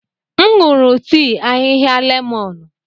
M nụrụ tii ahịhịa lemọnụ.